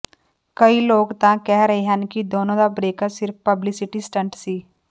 ਕਈ ਲੋਕ ਤਾਂ ਕਹਿ ਰਹੇ ਹਨ ਕਿ ਦੋਨਾਂ ਦਾ ਬ੍ਰੇਕਅੱਪ ਸਿਰਫ ਪਬਲੀਸਿਟੀ ਸਟੰਟ ਸੀ